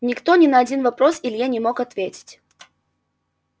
никто ни на один вопрос илье не мог ответить